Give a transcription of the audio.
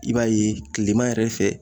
I b'a ye kilema yɛrɛ fɛ